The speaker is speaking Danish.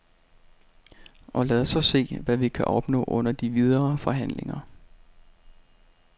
Og lad os så se, hvad vi kan opnå under de videre forhandlinger.